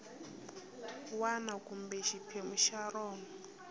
wana kumbe xiphemu xa rona